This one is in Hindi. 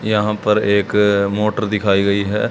यहां पर एक मोटर दिखाई गई है।